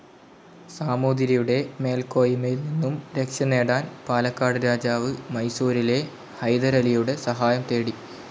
സമൂതിരിയുടെ മേൽക്കൊയ്മയിൽ നിന്നും രക്ഷ നേടാൻ പാലക്കാട്‌ രാജാവ്‌ മൈസൂരിലെ ഹൈദരലിയുടെ സഹായം തേടി.